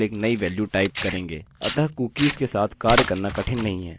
आप लिखेंगे set cookie name और यहाँ केवल एक नई वेल्यु टाइप करेंगे